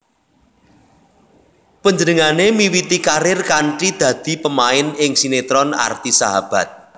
Panjenenganne miwiti karir kanthi dadi pamain ing sinetron Arti Sahabat